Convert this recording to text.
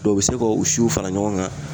u be se ka u siw fara ɲɔgɔn kan